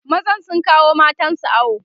mazan sun kawo matansu awo